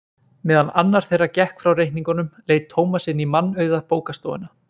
Meðan annar þeirra gekk frá reikningnum leit Tómas inn í mannauða bókastofuna.